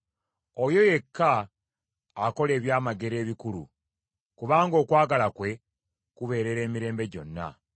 Oyo yekka akola ebyamagero ebikulu, kubanga okwagala kwe kubeerera emirembe gyonna.